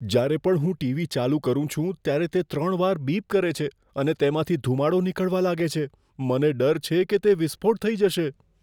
જ્યારે પણ હું ટીવી ચાલુ કરું છું, ત્યારે તે ત્રણ વાર બીપ કરે છે અને તેમાંથી ધૂમાડો નીકળવા લાગે છે. મને ડર છે કે તે વિસ્ફોટ થઈ જશે.